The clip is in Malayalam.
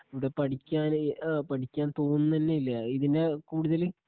ഇവിടെ പഠിക്കാന് ഏ ആ തോന്നുനന്നയില്ല ഇതിനെ കൂടുതല്